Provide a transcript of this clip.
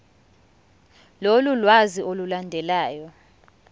lolu lwazi olulandelayo